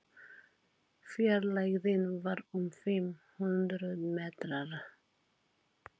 Fjarlægðin var um fimm hundruð metrar.